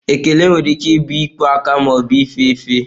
Ekele nwere ike ịbụ ikwe aka ma ọ bụ ife efe.